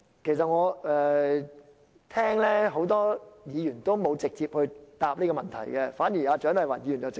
其實很多議員沒有直接回答這個問題，除了蔣麗芸議員。